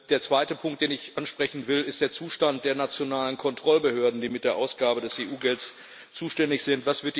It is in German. Der zweite Punkt, den ich ansprechen will, ist der Zustand der nationalen Kontrollbehörden, die für die Ausgabe des EU Gelds zuständig sind.